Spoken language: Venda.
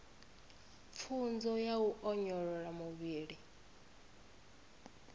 pfunzo ya u onyolosa muvhili